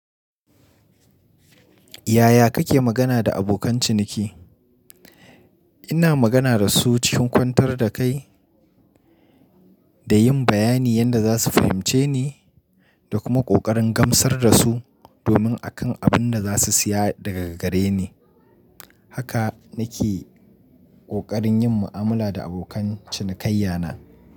Yaya kake magana da abokan ciniki? Ina magana da su cikin kwantar da kai da yin bayanin yanda za su fahimce ni da kuma ƙoƙarin gamsar da su domin akan abin da za su siya daga gare ni. Haka na ke ƙoƙarin yin mu'amala da abokan cinikayya na.